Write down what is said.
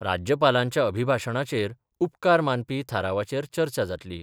राज्यपालांच्या अभिभाशणाचेर उपकार मानपी थारावाचेर चर्चा जातली.